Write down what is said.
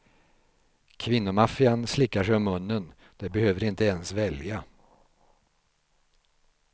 Kvinnomaffian slicker sig om munnen, de behöver inte ens välja.